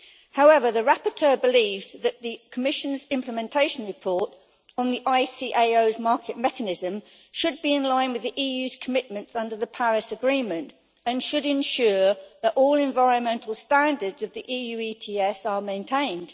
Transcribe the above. However, the rapporteur believes that the Commission's implementation report on the ICAO's market mechanism should be in line with the EU's commitments under the Paris Agreement and should ensure that all environmental standards of the EU ETS are maintained.